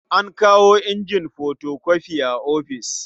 An kawo injin fotokofi a ofis.